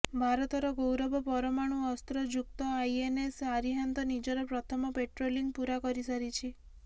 ଭାରତର ଗୌରବ ପରମାଣୁ ଅସ୍ତ୍ର ଯୁକ୍ତ ଆଇଏନଏସ ଆରିହାନ୍ତ ନିଜର ପ୍ରଥମ ପେଟ୍ରୋଲିଙ୍ଗ ପୁରା କରିସାରିଛି